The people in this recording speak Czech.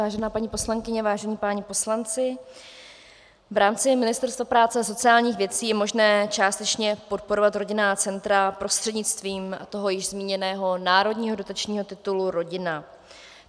Vážená paní poslankyně, vážení páni poslanci, v rámci Ministerstva práce a sociálních věcí je možné částečně podporovat rodinná centra prostřednictvím toho již zmíněného národního dotačního titulu Rodina.